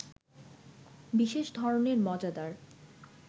বিশেষ ধরনের মজাদার